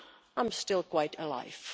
I'm still quite alive.